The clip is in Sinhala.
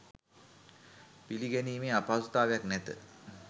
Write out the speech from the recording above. පිළිගැනීමේ අපහසුතාවයක් නැත.